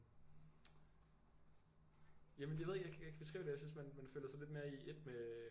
Jamen jeg ved ikke jeg kan ikke beskrive det jeg synes man føler sig lidt mere i ét med